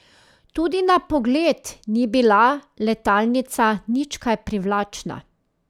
Tudi na pogled ni bila letalnica nič kaj privlačna.